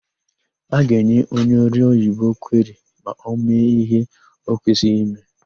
A ga-enye onye ọrụoyibo kweri ma ọ mee íhé ọ kwesịghị ime.